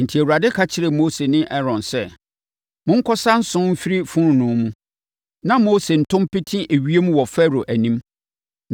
Enti, Awurade ka kyerɛɛ Mose ne Aaron sɛ, “Monkɔsa nso mfiri fononoo mu, na Mose nto mpete ewiem wɔ Farao anim.